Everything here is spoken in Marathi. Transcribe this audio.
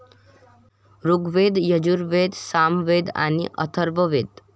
ऋग्वेद, यजुर्वेद, सामवेद आणि अथर्ववेद.